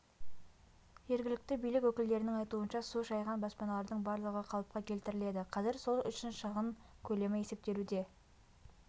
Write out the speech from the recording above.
жергілікті билік өкілдерінің айтуынша су шайған баспаналардың барлығы қалыпқа келтіріледі қазір сол үшін шығын көлемі есептелуде